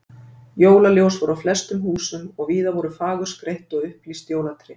Jólaljós voru á flestum húsum og víða voru fagurskreytt og upplýst jólatré.